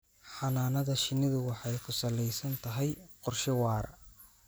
Xannaanada shinnidu waxay ku salaysan tahay qorshe waara.